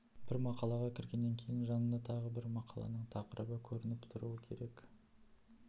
бір мақалаға кіргеннен кейін жанында тағы бір мақаланың тақырыбы көрініп тұруы керек